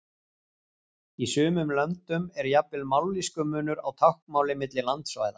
Í sumum löndum er jafnvel mállýskumunur á táknmáli milli landsvæða.